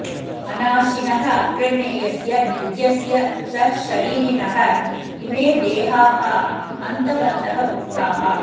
अनाशिनः अप्रमेयस्य नित्यस्य च शरीरिणः इमे देहाः अन्तवन्तः उक्ताः